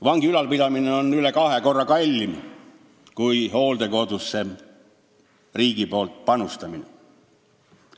Vangi ülalpidamine on üle kahe korra kallim kui riigi panustamine hooldekodudesse.